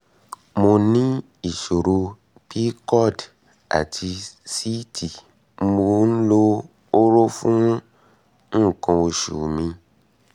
mo ní ìṣòro pcod àti síìtì mò ń lo hóró fún um nǹkan oṣù mi mi